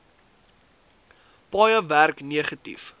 paaie werk negatief